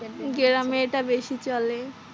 গ্রামে এটা বেশি চলে।